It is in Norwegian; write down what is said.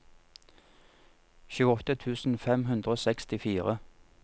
tjueåtte tusen fem hundre og sekstifire